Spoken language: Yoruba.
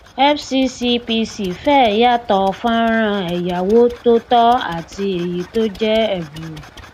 fccpc fẹ yàtọ fọnrán ẹyáwó tòótọ àti èyí tó jẹ ẹbùrú